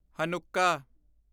Hanukkah